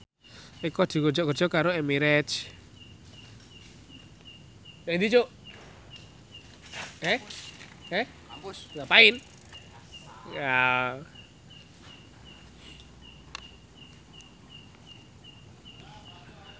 Eko dikontrak kerja karo Emirates